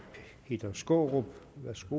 peter skaarup